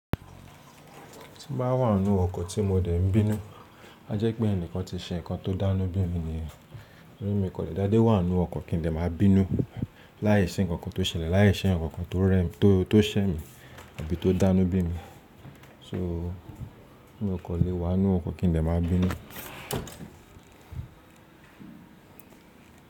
Tí n bá wá nu ọkò tí mo dè ń bínú, a jẹ́ pé ẹnìkan ti ṣe nǹkan tó dánú bí mi nìyẹn. Torí mi kò lè dáde wá nu ọkò kí n lè máa bínú láìsí ǹkan kan tó ṣẹlẹ̀, láìsí ǹkan kan tó rẹ́ mi, tó, tó ṣẹ́ mi àbí tó dánú bí mi. So, mi ò kò lè wá nu ọkò kí n lè máa bínú.